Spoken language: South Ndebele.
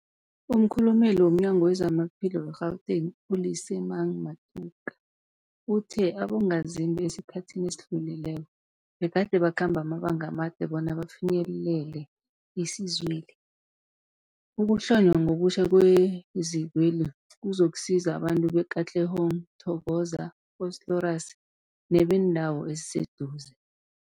Umkhulumeli womNyango weZamaphilo we-Gauteng, u-Lesemang Matuka uthe abongazimbi esikhathini esidlulileko begade bakhamba amabanga amade bona bafinyelele isizweli. Ukuhlonywa ngobutjha kwezikweli kuzokusiza abantu be-Katlehong, Thokoza, Vosloorus nebeendawo eziseduze.